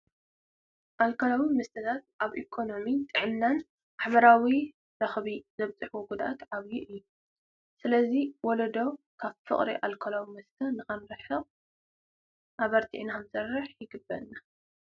ኣልኮላዊ መስተታት ኣብ ኢኮነሚ፣ ጥዕናን፣ ማሕበራዊ ረኽቢ ዘብፅሕዎ ጉድኣት ዓብዪ እዩ፡፡ ስለዚ ወለዶ ካብ ፍቅሪ ኣልኮላዊ መስተ ንክርሕቕ ኣበርቲዕና ክንሰርሕ ይግባእ፡፡